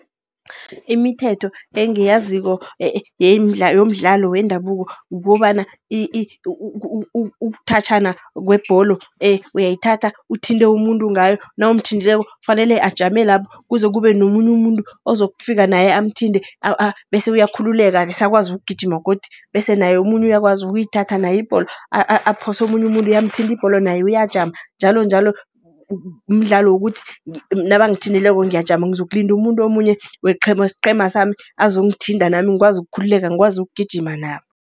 Imithetho engiyaziko yomdlalo wendabuko, kukobana ukuthatjhana kwebholo, uyayithanda uthinte umuntu ngayo, nawumthintileko kufanele ajame lapho. Kuze kube nomunye umuntu ozokufika naye amthinte, bese uyakhululeka, besakwazi ukugijima godu. Bese naye omunye uyakwazi ukuyithatha naye ibholo, aphose omunye umuntu, yamthinta ibholo naye uyajama njalonjalo. Mdlalo wokuthi nabangithintileko ngiyajama, ngizokulinda umuntu omunye wesqhema sami, azongithinta nami ngikwazi ukukhululeka, ngikwazi ukugijima nabo.